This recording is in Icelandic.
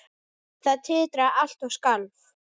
Það titraði allt og skalf.